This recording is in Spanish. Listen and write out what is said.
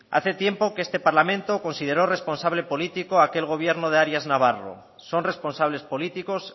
hace tiempo que este parlamento consideró responsable político a aquel gobierno de arias navarro son responsables políticos